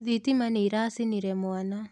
Thitima nĩĩracinire mwana.